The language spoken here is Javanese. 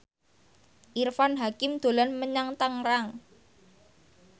Irfan Hakim dolan menyang Tangerang